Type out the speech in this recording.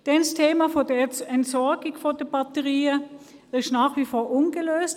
Die Entsorgung der Batterien ist nach wie vor ungelöst.